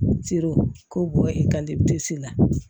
k'o bɔ e ka la